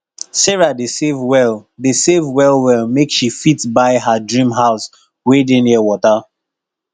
sarah dey save well dey save well well make she fit buy her dream house wey dey near wata